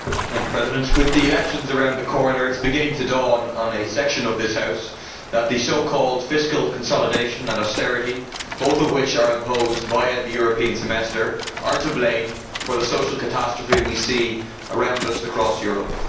Madam President, with the elections around the corner, it is beginning to dawn on a section of this House that so called fiscal consolidation and austerity, both of which are imposed via the European Semester, are to blame for the social catastrophe we see around us across Europe.